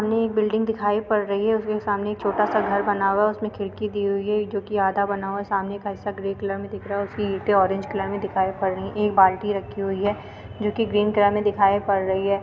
सामने एक बिल्डिंग दिखाई पड़ रही है उसके सामने एक छोटा सा घर बना हुआ है। उसमे खिड़की दी हुई है जो कि आधा बना हुआ है। सामने का हिस्सा ग्रे कलर में दिख रहा है और उसकी ईंटे ऑरेंज कलर में दिखाई पड़ रही है। एक बाल्टी रखी हुई है जो कि ग्रीन कलर में दिखाई पड़ रही है।